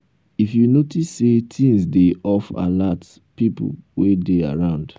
if you notice sey things dey off alert pipo wey dey around